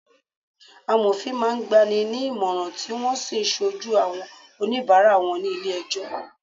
Amofin máa ń gba ni ní ìmọ̀ràn, tí wọn ó sì ṣojú àwọn onibara wọn ní ilé ẹjọ́